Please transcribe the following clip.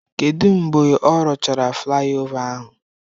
Kedu mgbe ọ rụchara flaịova ahụ?